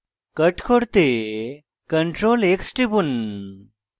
cut করতে ctrl + x টিপুন